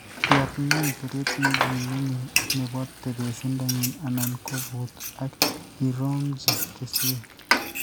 Yaat ng'wony tereet ne ki kiming'in ne po tebeesindanyi anan ko kuut, ak iroong'ji kesweek.